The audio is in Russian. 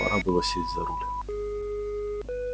пора было сесть за руль